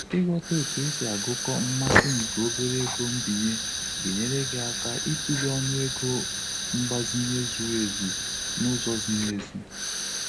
Ịghọta otu esi agụkọ mmasi nke obere ego mbinye ga enyere gị aka ịtụle ọnụ ego mgbazinye zuru ezu n'ụzọ ziri ezi.